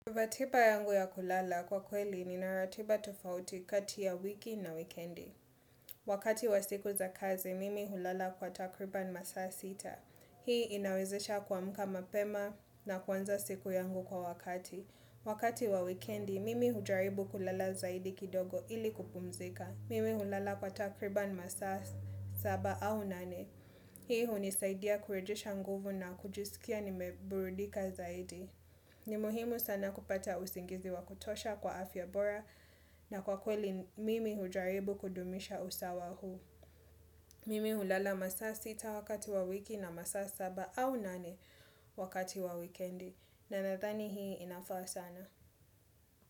Ratiba yangu ya kulala kwa kweli nina ratiba tofauti kati ya wiki na wikendi. Wakati wa siku za kazi, mimi hulala kwa takriban masaa sita. Hii inawezesha kuamka mapema na kwanza siku yangu kwa wakati. Wakati wa wikendi, mimi hujaribu kulala zaidi kidogo ili kupumzika. Mimi hulala kwa takriban masaa saba au nane. Hii hunisaidia kurejesha nguvu na kujisikia nimeburudika zaidi. Ni muhimu sana kupata usingizi wa kutosha kwa afya bora na kwa kweli mimi hujaribu kudumisha usawa huu Mimi ulala masaa 6 wakati wa wiki na masaa 7 au 8 wakati wa wikendi. Ninadhani hii inafaa sana.